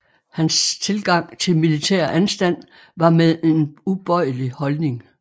Hans tilgang til militær anstand var med en ubøjelig holdning